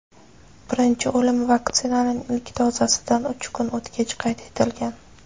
birinchi o‘lim vaksinaning ilk dozasidan uch kun o‘tgach qayd etilgan.